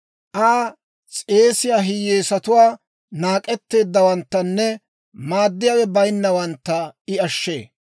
Aa s'eesiyaa hiyyeesatuwaa, naak'etteeddawanttanne maaddiyaawe bayinnawantta I ashshee.